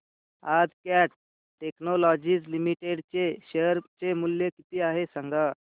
आज Cat technologies limited चे share चे मूल्य किती आहे सांगा